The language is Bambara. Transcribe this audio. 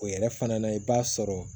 O yɛrɛ fana na i b'a sɔrɔ